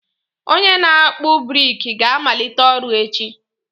Onye na akpu brik ga-amalite ọrụ echi.